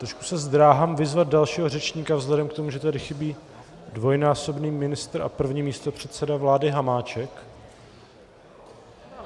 Trošku se zdráhám vyzvat dalšího řečníka vzhledem k tomu, že tady chybí dvojnásobný ministr a první místopředseda vlády Hamáček.